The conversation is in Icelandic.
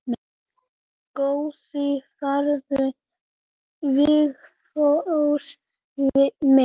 Góða ferð Vigfús minn.